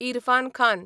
Irfan Khan